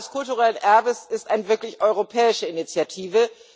Das Jahr des kulturellen Erbes ist eine wirklich europäische Initiative.